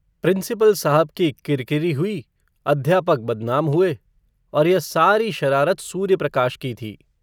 Principal साहब की किरकिरी हुई, अध्यापक बदनाम हुए, और यह सारी शरारत सूर्यप्रकाश की थी।